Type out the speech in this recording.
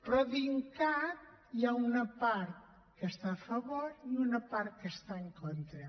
però a dincat hi ha una part que hi està a favor i una part que hi està en contra